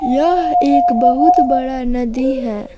यह एक बहुत बड़ा नदी है।